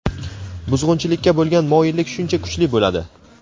buzg‘unchilikka bo‘lgan moyillik shuncha kuchli bo‘ladi.